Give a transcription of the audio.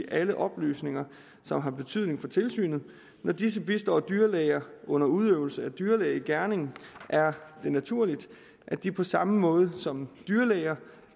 alle oplysninger som har betydning for tilsynet når disse bistår dyrlæger under udøvelse af dyrlægegerning er det naturligt at de på samme måde som dyrlæger